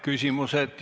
Küsimused.